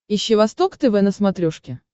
ищи восток тв на смотрешке